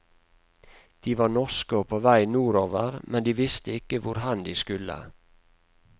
De var norske og på vei nordover, men de visste ikke hvorhen de skulle.